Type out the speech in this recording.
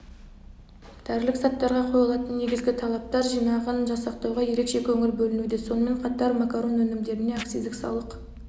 дәрілік заттарға қойылатын негізгі талаптар жинағын жасақтауға ерекше көңіл бөлінуде сонымен қатар макарон өнімдеріне акциздік салық